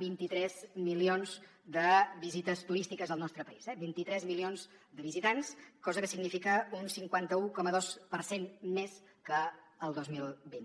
vint tres milions de visites turístiques al nostre país eh vint tres milions de visitants cosa que significa un cinquanta un coma dos per cent més que el dos mil vint